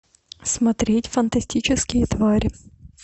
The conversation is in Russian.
смотреть фантастические твари